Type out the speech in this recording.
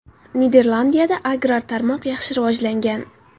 Niderlandiyada agrar tarmoq yaxshi rivojlangan.